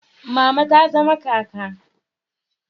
Mama ta zama kaka